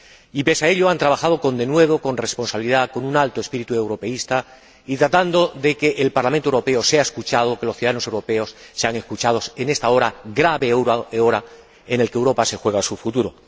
Y, pese a ello, han trabajado con denuedo, con responsabilidad, con un alto espíritu europeísta y tratando de que el Parlamento Europeo sea escuchado, de que los ciudadanos europeos sean escuchados en esta hora, grave hora, en la que Europa se juega su futuro.